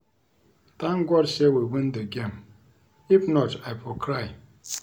Thank God say we win the game if not I for cry